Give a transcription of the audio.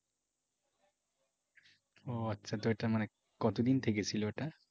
ও আচ্ছা তো এইটা মানে কত দিন থেকে ছিল এটা?